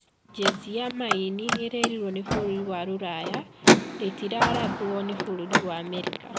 Jesi ya maĩinĩ niriririirwe ni bũrũri wa Ruraya rĩtĩrathwa ni bũrũri wa Amerika